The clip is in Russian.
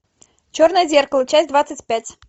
черное зеркало часть двадцать пять